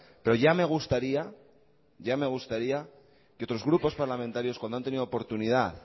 pero ya me gustaría ya me gustaría que otros grupos parlamentarios cuando han tenido oportunidad